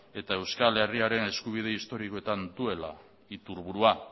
eta euskal herriaren eskubide historikoetan duela iturburua